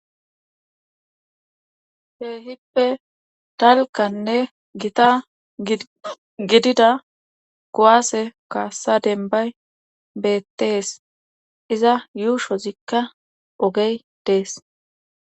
Keehippe dalgganne gita gidida kuwaase kaassa dembay beettees iza yuushozikka ogey dees.